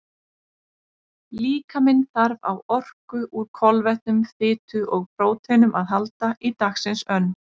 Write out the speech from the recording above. Líkaminn þarf á orku úr kolvetnum, fitu og próteinum að halda í dagsins önn.